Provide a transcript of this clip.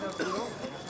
Oğurluq yoxdur.